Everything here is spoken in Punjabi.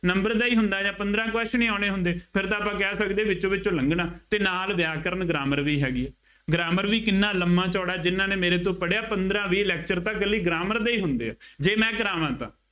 number ਦਾ ਹੀ ਹੁੰਦਾ ਜਾਂ ਪੰਦਰਾ question ਹੀ ਆਉਣੇ ਹੁੰਦੇ, ਫੇਰ ਤਾਂ ਆਪਾਂ ਕਹਿ ਸਕਦੇ ਵਿੱਚੋਂ ਵਿੱਚੋਂ ਲੰਘਣਾ ਅਤੇ ਨਾਲ ਵਿਆਕਰਣ grammar ਵੀ ਹੈਗੀ ਹੈ। grammar ਵੀ ਕਿੰਨਾ ਲੰਬਾ ਚੌੜਾ ਜਿੰਨ੍ਹਾ ਨੇ ਮੇਰੇ ਤੋਂ ਪੜ੍ਹਿਆ ਪੰਦਰਾ ਵੀਹ lecture ਤਾਂ ਇਕੱਲੀ grammar ਦੇ ਹੁੰਦੇ ਆ, ਜੇ ਮੈਂ ਕਰਾਵਾ ਤਾਂ